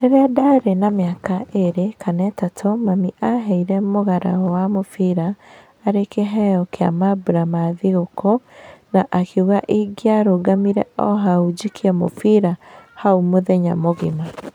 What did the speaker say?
Rĩrĩa ndarĩ na mĩaka ĩrĩ kana ĩtatũ mami aheire mũgara wa mũbira arĩ kiheo kĩa mambura ma thigokũũ na akiuga ingiarũgamire o hau njikie mũbira hau mũthenya mũgĩma.